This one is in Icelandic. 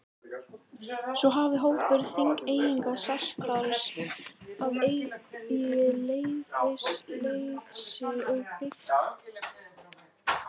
Svo hafi hópur Þingeyinga sest þar að í leyfisleysi og byggt sér bæi.